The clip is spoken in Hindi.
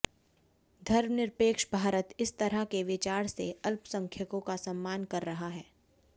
धर्मनिरपेक्ष भारत इस तरह के विचार से अल्पसंख्यकों का सम्मान कर रहा है